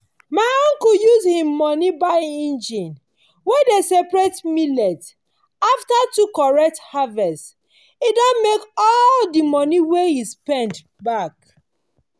my uncle use him money buy engine wey dey separate millet. after two correct harvest e don make all the money wey e spend back.